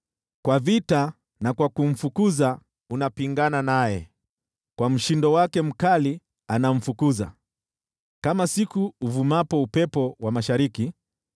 Kwa vita na kwa kumfukuza unapingana naye: kwa mshindo wake mkali anamfukuza, kama siku ile uvumapo upepo wa mashariki.